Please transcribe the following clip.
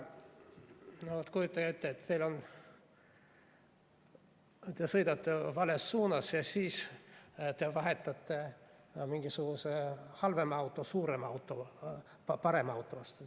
Kujutage ette, et te sõidate vales suunas ja vahetate seda tehes mingisuguse halvema auto suurema auto, parema auto vastu.